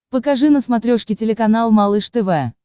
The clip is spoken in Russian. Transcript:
покажи на смотрешке телеканал малыш тв